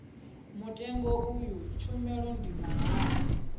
mutengo iyi tshumelo ndi mahala